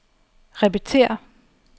repetér